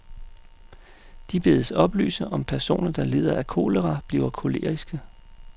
De bedes oplyse, om personer, der lider af kolera, bliver koleriske.